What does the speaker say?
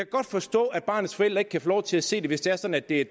godt forstå at barnets forældre ikke kan få lov til at se den hvis det er sådan at det er